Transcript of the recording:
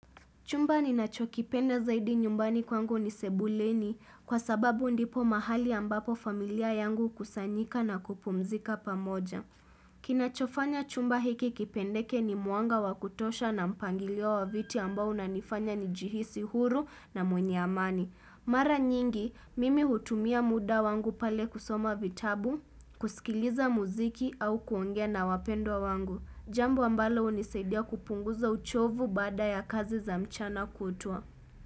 Chumba ninacho kipenda zaidi nyumbani kwangu ni sebuleni kwa sababu ndipo mahali ambapo familia yangu hukusanyika na kupumzika pamoja. Kinachofanya chumba hiki kipendeke ni mwanga wa kutosha na mpangilio wa viti ambao unanifanya nijihisi huru na mwenye amani. Mara nyingi, mimi hutumia muda wangu pale kusoma vitabu, kusikiliza mziki au kuongea na wapendwa wangu. Jambu ambalo hunisaidia kupunguza uchovu baada ya kazi za mchana kutwa.